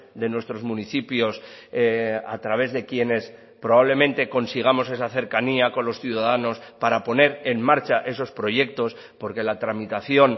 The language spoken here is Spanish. de nuestros municipios a través de quienes probablemente consigamos esa cercanía con los ciudadanos para poner en marcha esos proyectos porque la tramitación